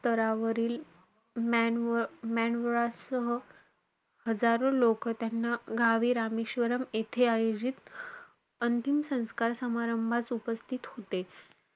स्थरावरील मन सह हजारो लोकं, त्यांना गावी रामेश्वरम, येथे आयोजित, अंतिम संस्कार समारंभास उपस्थित होते.